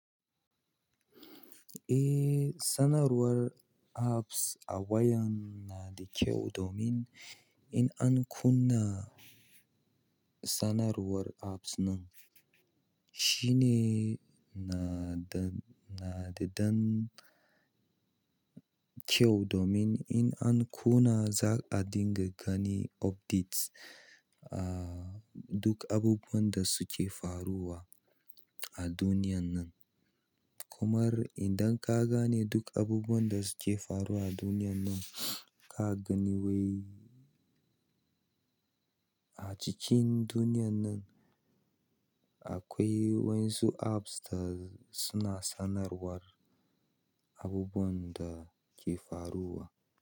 Eh, sanarwar apps a wayan na da kyau domin in an kunna sanarwar apps nan shine na da, nada ɗan kyau domin in an kunna za a dinga gani updates, ah, duk abubuwan da suke faruwa a duniyan nan. Kuma idan ka gane duk abubuwan da suke faruwa a duniyan nan, ka gani wai a cikin duniyan nan akwai wasu apps da suna sanarwar abubuwan da ke faruwa.